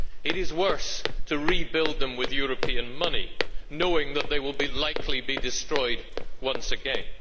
it is worse to rebuild them with European money knowing that they will likely be destroyed once again.